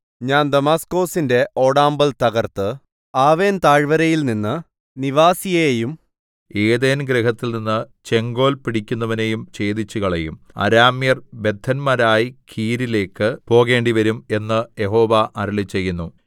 ഞാൻ ദമാസ്കൊസിന്റെ ഓടാമ്പൽ തകർത്ത് ആവെൻതാഴ്വരയിൽനിന്ന് നിവാസിയെയും ഏദെൻഗൃഹത്തിൽനിന്ന് ചെങ്കോൽ പിടിക്കുന്നവനെയും ഛേദിച്ചുകളയും അരാമ്യർ ബദ്ധന്മാരായി കീരിലേക്ക് പോകേണ്ടിവരും എന്ന് യഹോവ അരുളിച്ചെയ്യുന്നു